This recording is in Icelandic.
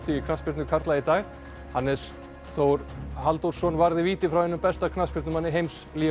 í knattspyrnu karla í dag Hannes Þór Halldórsson varði víti frá einum besta knattspyrnumanni heims